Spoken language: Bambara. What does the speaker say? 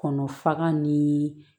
Kɔnɔ faga ni